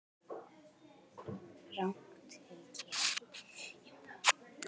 Rangt til getið